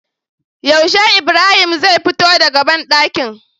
Yaushe ibrahim zai fito daka banɗakin?